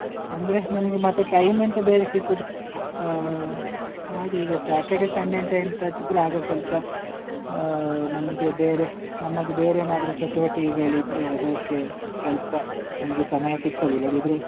ಅಂದ್ರೆ ನಮಿಗೆ ಮತ್ತೆ time ಎಂತ ಬೇರೆ ಸಿಗುದಿಲ್ಲ, ಅಹ್ ಹಾಗೆ ಈಗ Saturday Sunday ಎಂತ ಎಂತಾದ್ರೂ ಇದ್ರೆ ಆಗ ಸ್ವಲ್ಪ ಅಹ್ ನಮಿಗೆ ಬೇರೆ ನಮ್ಮದು ಬೇರೆ ಏನಾದ್ರೂ ಚಟುವಟಿಕೆಗಳಿದ್ರೆ ಅದಕ್ಕೆ ಸ್ವಲ್ಪ ಅಂದ್ರೆ ಸಮಯ ಸಿಕ್ತದೆ ಇಲ್ಲದಿದ್ರೆ.